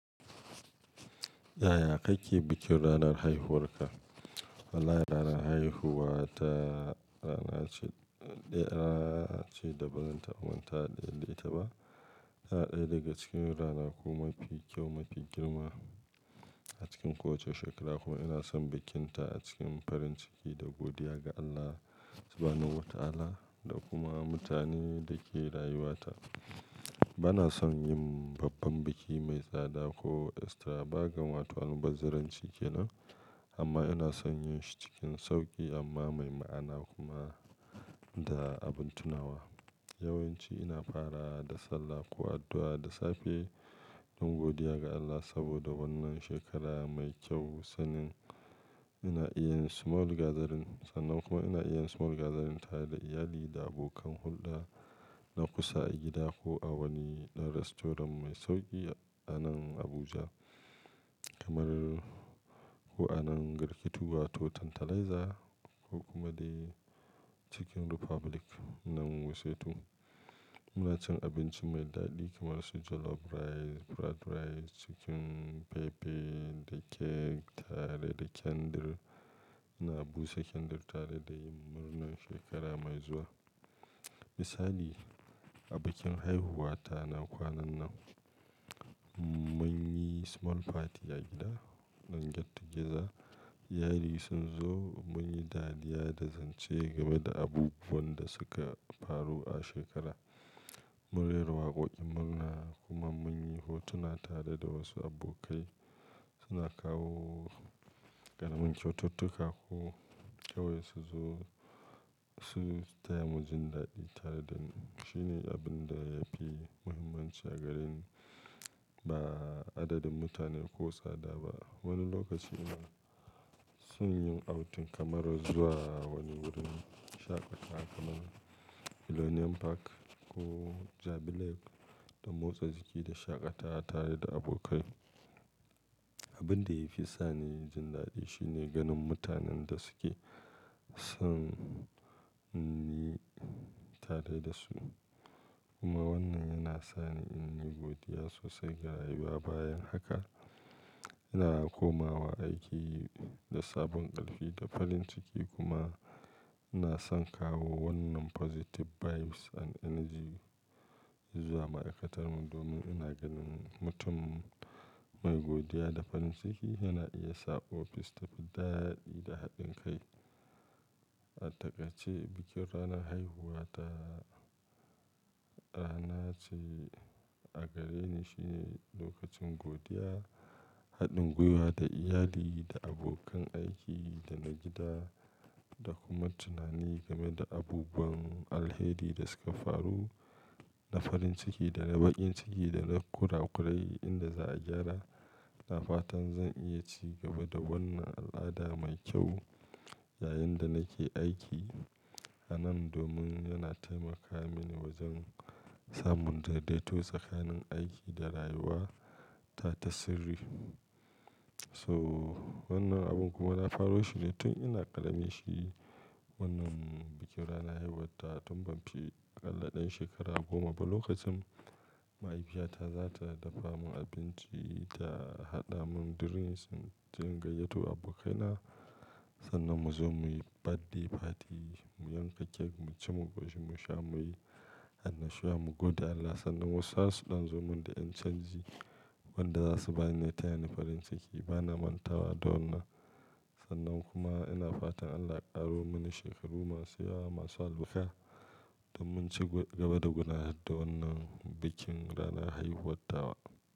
Yaya kake bikin ranar haihuwarka? Wallahi ranar haihuwa ta Rana ce, ɗan Rana ce dabanci da bazan taba mantawa da ita ba. Tana ɗaya daga cikin ranaku mafi kyau, mafi girma a cikin kowace shekara kuma ina son bikinta a cikin farin ciki da godiya ga Allah Subahanahu wa Ta'ala da kuma mutanen da ke rayuwata. Bana son yin babban biki mai tsada ko extra, baga wa to almubazzaranci kenan amma ina son yin shi cikin sauƙi amma mai ma'ana kuma da abin tunawa. Yawan ci ina fara da sallah ko addu'a da safe don godiya ga Allah saboda wannan shekara mai kyau sannan ina iya yin small gazarin, sannan kuma ina iya yin small gazarin tare da iyali da abokan hulɗa na kusa a gida ko a wani ɗan rastoran mai sauƙi a nan Abuja kamar ko a nan Garkituwa ko Tantalizer ko kuma dai Chicken Republic nan Wuse 2. Muna cin abinci mai daɗi kamar su jollof rice, fried rice, chicken pepper da cake tare da candle. Ina busa candle tare da yin murnar shekara mai zuwa. Misali, a bikin haihuwata na kwanan nan mun yi small party a gida don yatta giza. Iyali sun zo mun yi dariya da zance game da abubuwan da suka faru a shekara. Mun rera waƙoƙin murna kuma mun yi hotuna tare da wasu abokai suna kawo ƙaramin kyaututtuka ko kawai su zo su taya mu jin daɗi tare da mu. Shi ne abin da yafi muhimmanci a gareni ba adadin mutane ko tsada ba. Wani lokaci kuma sun yin outdoor kamar zuwa wani wurin shaƙata kamar Millennium Park ko Jabi Lake don motsa jiki da shaƙata tare da abokai. Abin da yafi sani yin jin daɗi shine ganin mutanen da suke son ni tare da su kuma wannan yana sani in yi godiya sosai ga rayuwa. Bayan haka ina komawa aiki da sabon ƙarfi da farin ciki kuma ina son kawo wannan positive vibes and energy zuwa ma'aikatar mu domin ina ganin mutum mai godiya da farin ciki yana iya sa ofis ta fi daɗi da haɗin kai. A takaice bikin ranar haihuwa ta Rana ce a gareni shine lokacin godiya, haɗin gwiwa da iyali da abokan aiki da na gida da kuma tunani game da abubuwan alheri da suka faru na farin ciki da na bakin ciki da na kurakurai inda za a gyara. Ina fatan zan iya ci gaba da wannan al'ada mai kyau yayin da nake aiki a nan domin yana taimaka mini wajen samun daidaito tsakanin aiki da rayuwa ta ta sirri. So wannan abin kuma na faru shi ne tun ina ƙarami shi wannan bikin ranar haihuwa ta tun ban fi ƙalla ɗan shekara goma ba. Lokacin mahaifiyata za ta dafa mun abinci ta haɗa mun drinks don gayyato abokaina sannan mu zo muyi birthday party mu yanka cake mu ci mu ƙoshi mu sha muyi annashuwa mu gode Allah sannan wasu har su ɗan zo mun da ƴan canji wanda za su bani tayani farin ciki. Bana mantawa da wannan sannan kuma ina fatan Allah ya ƙaro mini shekaru masu yawa masu albarka don mu ci gaba da gudanar da wannan bikin ranar haihuwar dawa.